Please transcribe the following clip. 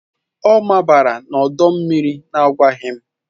Ọ mabara n'ọdọ mmiri na-agwaghị m.